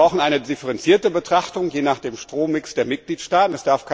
Wir brauchen eine differenzierte Betrachtung je nach dem Strommix der Mitgliedstaaten.